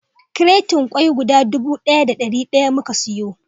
Kratin kwak guda dubu ɗaya da ɗari daya muka siyo